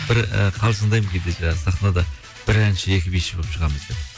бір і қалжыңдаймын кейде жаңа сахнада бір әнші екі биші болып шығамыз деп